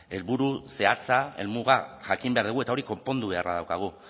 helburu zehatza helmuga jakin behar dugu eta hori konpondu beharra daukagu